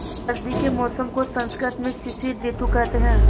सर्दी के मौसम को संस्कृत में शिशिर ॠतु कहते हैं